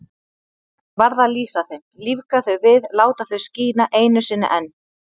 Varð að lýsa þeim, lífga þau við, láta þau skína einu sinni enn.